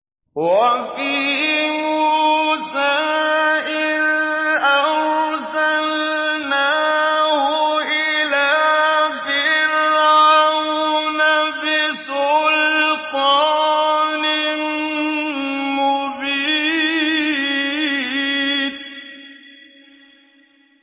وَفِي مُوسَىٰ إِذْ أَرْسَلْنَاهُ إِلَىٰ فِرْعَوْنَ بِسُلْطَانٍ مُّبِينٍ